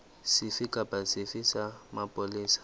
sefe kapa sefe sa mapolesa